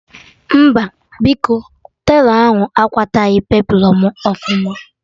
Mba biko, telọ ahụ akwataghi peplọn mụ ọfụma